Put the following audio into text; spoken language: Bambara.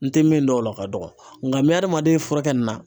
N tɛ min dɔn o la o ka dɔgɔ n bɛ adamaden furakɛ nin na.